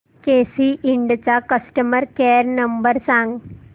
केसी इंड चा customer care number सांग